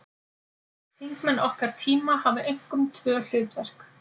Þingmenn okkar tíma hafa einkum tvö hlutverk.